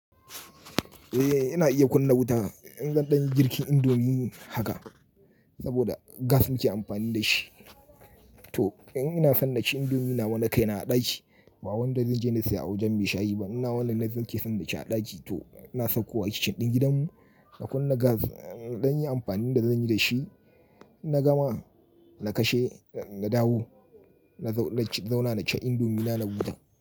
Eh ina iya kunna wuta in zan dan yin girkin indomie haka saboda gas muke amfani da shi. To in ina san na ci indomie nawa na kai na a ɗaki ba wanda zanje na siya a wajen mai shayi ba. Ina wannan nake ke san da ci a ɗaki to na sauko a kicin ɗin gidan mu na kunna gas don yin amfanin da zanyi da shi inna gama na kashe, na dawo na zauna na ci indomie na, na gudu.